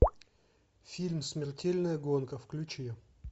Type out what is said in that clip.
фильм смертельная гонка включи